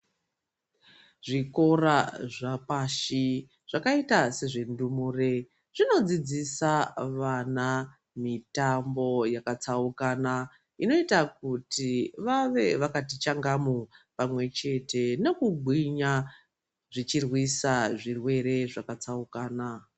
Zvikora zvapashi zvakaite sezvendumure ,zvinodzidzisa vana mitambo yakatsaukana inoita kuti vave vakati changamu pamwechte nekugwinya, zvichirwisa zvirwere zvakatsaukana.